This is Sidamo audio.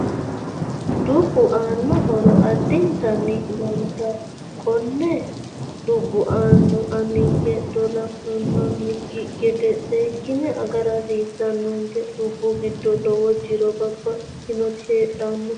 Dubbu anno horo addintani lowote konne dubbo ani aninke dolle hunanikki gede seekine agara hasiisanonke dubbu giddo lowo jiro babbaxitinoti heedhanno